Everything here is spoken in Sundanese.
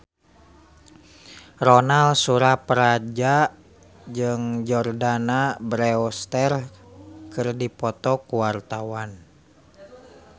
Ronal Surapradja jeung Jordana Brewster keur dipoto ku wartawan